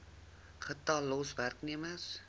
getal los werknemers